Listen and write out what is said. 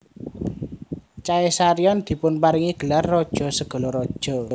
Caesarion dipunparingi gelar Raja segala Raja